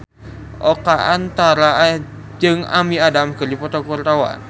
Oka Antara jeung Amy Adams keur dipoto ku wartawan